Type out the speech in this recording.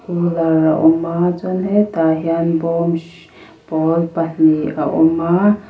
cooler a awm a chuan hetah hian bawm hrii pawl pa hnih a awm a.